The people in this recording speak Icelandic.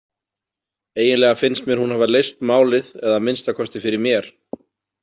Eiginlega finnst mér hún hafa leyst málið eða að minnsta kosti fyrir mér.